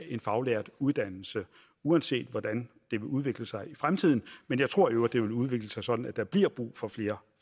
en faglært uddannelse uanset hvordan det vil udvikle sig i fremtiden men jeg tror i øvrigt at det vil udvikle sig sådan at der bliver brug for flere